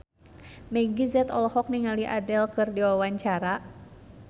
Meggie Z olohok ningali Adele keur diwawancara